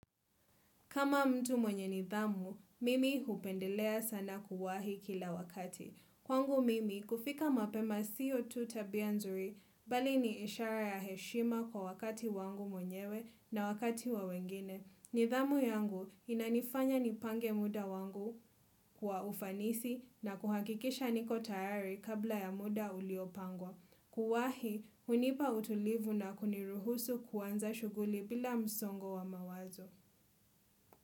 Kama mtu mwenye nidhamu, mimi hupendelea sana kuwahi kila wakati. Kwangu mimi, kufika mapema sio tu tabia nzuri, bali ni ishara ya heshima kwa wakati wangu mwenyewe na wakati wa wengine. Nidhamu yangu inanifanya nipange muda wangu kwa ufanisi na kuhakikisha niko tayari kabla ya muda uliopangwa. Kuwahi, unipa utulivu na kuniruhusu kuanza shuguli bila msongo wa mawazo.